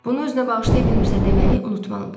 Bunu özünə bağışlaya bilmirsə deməli unutmalıdır.